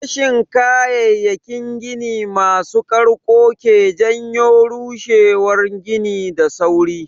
Rashin kayayyakin gini masu ƙarko ke janyo rushewan gini da sauri.